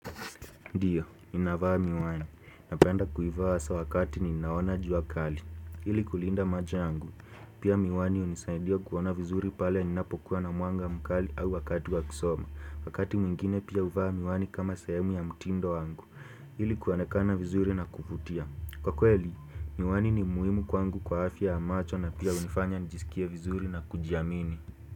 Ndiyo, ninavaa miwani. Napenda kuivaa asa wakati ni naona jua kali. Ili kulinda macho yangu. Pia miwani hunisaidia kuona vizuri pale ninapokuwa na mwanga mkali au wakati wakusoma. Wakati mwingine pia huvaa miwani kama sehemu ya mtindo wangu. Ili kuonekana vizuri na kuvutia. Kwa kweli, miwani ni muhimu kwangu kwa afya ya macho na pia hunifanya nijisikie vizuri na kujiamini.